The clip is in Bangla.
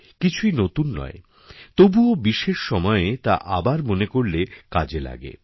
কিছুই নতুন নয়তবুও বিশেষ সময়ে তা আবার মনে করলে কাজে লাগে